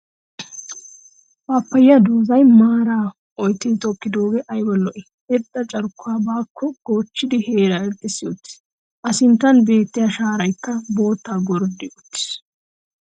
Pappayiya doozay maaraa oottidi tokkiddooge ayba lo'ii! Irxxa carkkuwa baakko goochchidi heeraa irxxissi uttiis. A sinttan beettiya shaaraykka boottaa gorddi uttiis.